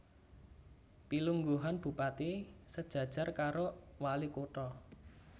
Pilungguhan Bupati sejajar karo Walikutha